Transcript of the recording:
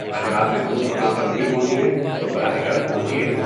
اگر آپ محفوظ مقام پر نہیں پہنچی ہیں، تو براہ کرم پہنچیے۔